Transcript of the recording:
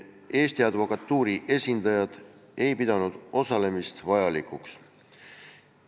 Eesti Advokatuuri esindajad ei pidanud osalemist vajalikuks.